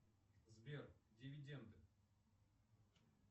сбер дивиденды